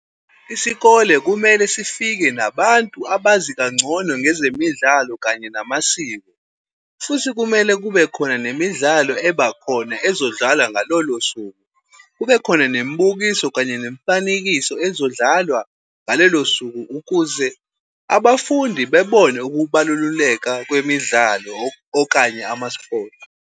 Isikole kumele sifike nabantu abazi kangcono ngezemidlalo kanye namasiko, futhi kumele kube khona nemidlalo ebakhona ezodlala ngalolosuku. Kube khona nemibukiso kanye nemifanekiso ezodlalwa ngalelo suku ukuze abafundi bebone ukubalululeka kwemidlalo okanye ama-sports.